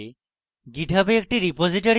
github a একটি repository বানান